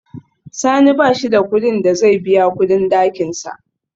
Sani bashi da kudin da zai biya kudin dakinsa